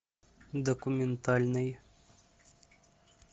документальный